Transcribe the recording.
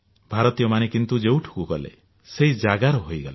ଭାରତୀୟମାନେ କିନ୍ତୁ ଯେଉଁଠିକୁ ଗଲେ ସେହି ଜାଗାର ହୋଇଗଲେ